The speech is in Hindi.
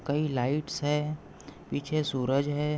कही लाइट्स है पीछे सूरज है।